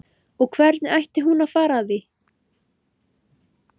Og hvernig ætti hún að fara að því?